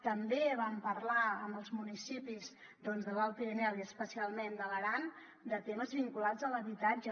també vam parlar amb els municipis de l’alt pirineu i especialment de l’aran de temes vinculats a l’habitatge